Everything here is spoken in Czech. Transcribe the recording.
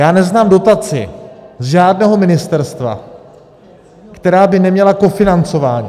Já neznám dotaci z žádného ministerstva, která by neměla kofinancování.